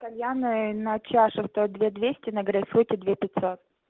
кальян ээ на чаше стоит две двести на грейпфруте две пятьсот